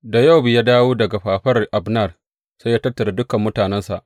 Da Yowab ya dawo daga fafaran Abner, sai ya tattara dukan mutanensa.